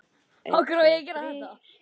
Ef ég verð ekki búin að slá í gegn á næstu